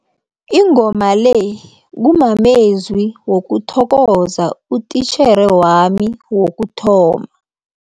Ingoma le kumamezwi wokuthokoza utitjhere wami wokuthoma.